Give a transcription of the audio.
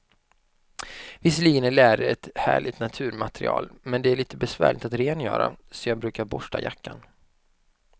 Visserligen är läder ett härligt naturmaterial, men det är lite besvärligt att rengöra, så jag brukar borsta jackan.